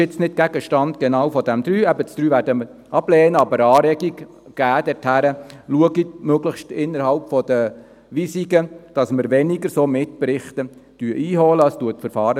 Dies ist nicht genau Gegenstand der Planungserklärung 3, eben, die Planungserklärung 3 werden wir ablehnen, geben aber eine Anregung, dass sie möglichst innerhalb der Weisungen schauen, dass weniger solche Mitberichte eingeholt werden.